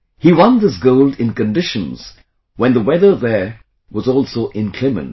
He won this gold in conditions when the weather there was also inclement